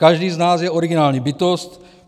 Každý z nás je originální bytost.